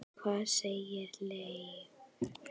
Hvað segir Leifur?